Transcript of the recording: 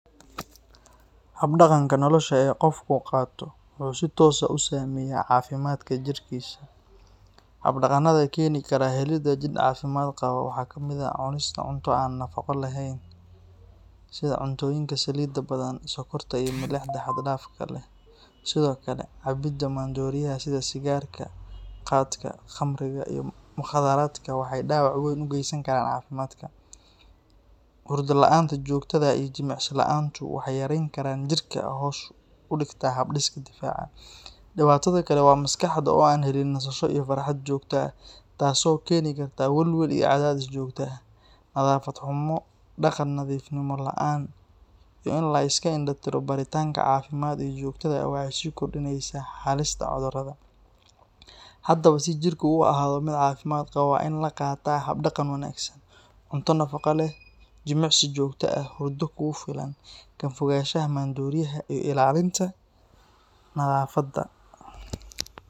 Hab-dhaqanka nolosha ee qofku qaato wuxuu si toos ah u saameeyaa caafimaadka jidhkiisa. Hab-dhaqannada keeni karaah helida jidh caafimaad qaba waxaa ka mid ah cunista cunto aan nafaqo lahayn sida cuntooyinka saliidda badan, sokorta iyo milixda xad dhaafka ah leh. Sidoo kale, cabidda maandooriyaha sida sigaarka, qaadka, khamriga iyo mukhaadaraadka waxay dhaawac weyn u geysan karaan caafimaadka. Hurdo la’aanta joogtada ah iyo jimicsi la’aantu waxay yareeyaan tamarta jidhka oo hoos u dhigta hab-dhiska difaaca. Dhibaatada kale waa maskaxda oo aan helin nasasho iyo farxad joogto ah taasoo keeni karta welwel iyo cadaadis joogto ah. Nadaafad xumo, dhaqan nadiifnimo la’aan, iyo in la iska indho-tiro baaritaanka caafimaad ee joogtada ah waxay sii kordhinayaan halista cudurrada. Haddaba, si jidhku u ahaado mid caafimaad qaba, waa in la qaataa hab-dhaqan wanaagsan: cunto nafaqo leh, jimicsi joogto ah, hurdo kugu filan, ka fogaanshaha maandooriyaha, iyo ilaalinta nadaafadda.